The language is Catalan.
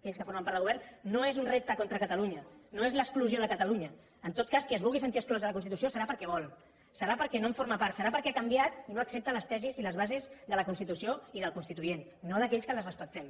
aquells que formen part del govern no és un repte contra catalunya no és l’exclusió de catalunya en tot cas qui es vulgui sentir exclòs de la constitució serà perquè vol serà perquè no en forma part serà perquè ha canviat i no accepta les tesis i les bases de la constitució i del constituent no d’aquells que les respectem